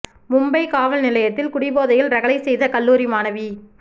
மும்பை காவல் நிலையத்தில் குடிபோதையில் ரகளை செய்த கல்லூரி மாணவி